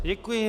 Děkuji.